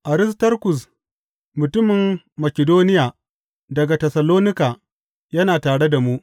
Aristarkus, mutumin Makidoniya daga Tessalonika, yana tare da mu.